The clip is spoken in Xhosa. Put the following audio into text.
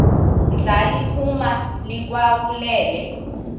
ndla liphuma likhawulele